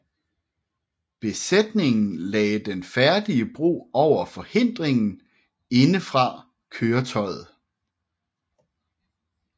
Besætningen lagde den færdige bro over forhindringen indefra køretøjet